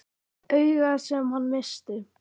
Augað sem hann missti.